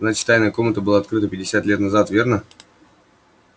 значит тайная комната была открыта пятьдесят лет назад верно